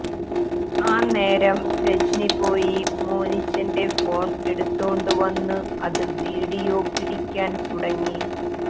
ആ നേരം രജനി പോയി മോനിച്ചന്റെ ഫോൺ എടുത്തോണ്ട് വന്നു അത് വീഡിയോ പിടിക്കാൻ തുടങ്ങി